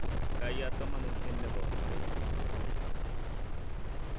Kaiyat kamanuutyet ne po aldaisyek